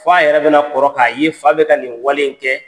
Fɔ a yɛrɛ bɛna kɔrɔ k'a ye fa bɛ ka nin wale in kɛ.